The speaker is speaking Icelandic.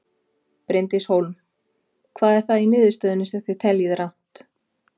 Bryndís Hólm: Hvað er það í niðurstöðunni sem þið teljið rangt?